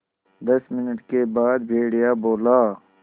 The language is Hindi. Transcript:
दस मिनट के बाद भेड़िया बोला